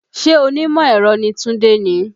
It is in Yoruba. Ṣé onímọ̀ ẹ̀rọ ni Tunde ni?